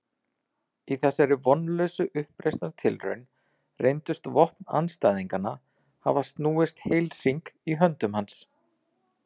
Í þessari vonlausu uppreisnartilraun reyndust vopn andstæðinganna hafa snúist heilhring í höndum hans.